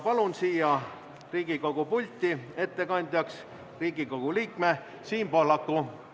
Palun siia Riigikogu pulti ettekandjaks Riigikogu liikme Siim Pohlaku.